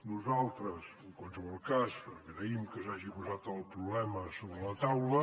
nosaltres en qualsevol cas agraïm que s’hagi posat el problema sobre la taula